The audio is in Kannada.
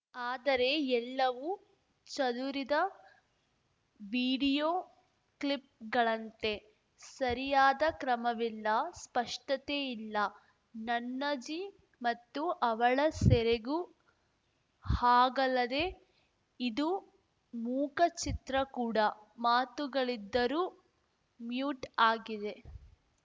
ಆದರೆ ಎಲ್ಲವು ಚದುರಿದ ವಿಡಿಯೋ ಕ್ಲಿಪ್‌ಗಳಂತೆ ಸರಿಯಾದ ಕ್ರಮವಿಲ್ಲ ಸ್ಪಷ್ಟತೆಯಿಲ್ಲ ನನ್ನಜ್ಜಿ ಮತ್ತು ಅವಳ ಸೆರಗು ಹಾಗಲ್ಲದೇ ಇದು ಮೂಕ ಚಿತ್ರ ಕೂಡ ಮಾತುಗಳಿದ್ದರೂ ಮ್ಯೂಟ್‌ ಆಗಿದೆ